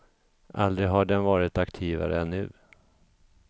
Aldrig har den varit aktivare än nu.